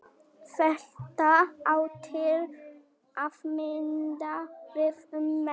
Þetta á til að mynda við um menn.